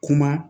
Kuma